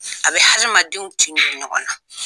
A bɛ hadamadenw tin don ɲɔgɔn na.